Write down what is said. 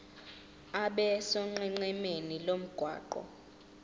abe sonqenqemeni lomgwaqo